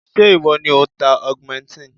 Ṣé ìwọ ni ò ń ta augmentin?